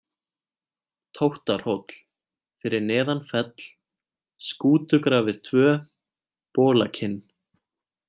Tóttarhóll, Fyrir neðan Fell, Skútugrafir 2, Bolakinn